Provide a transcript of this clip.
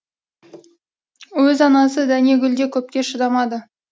өз анасы дәнегүл де көпке шыдамады